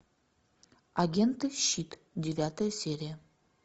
агенты щит девятая серия